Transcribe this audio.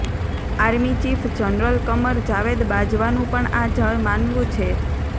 army chief general Qamar Javed બાજવાનું પણ આ જ માનવું છે